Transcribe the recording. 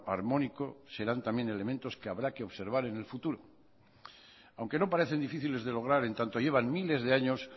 armónico serán también elementos que habrá que observar en el futuro aunque no parecen difíciles de lograr en tanto llevan miles de años